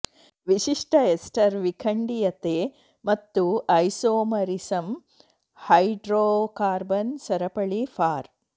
ವಿಶಿಷ್ಟ ಎಸ್ಟರ್ ವಿಖಂಡೀಯತೆ ಮತ್ತು ಐಸೋಮರಿಸಮ್ ಹೈಡ್ರೋಕಾರ್ಬನ್ ಸರಪಳಿ ಫಾರ್